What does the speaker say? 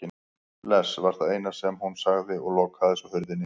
Bless var það eina sem hún sagði og lokaði svo hurðinni.